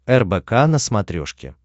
рбк на смотрешке